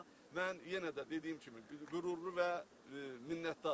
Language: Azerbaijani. Amma mən yenə də dediyim kimi, qürurlu və minnətdaram.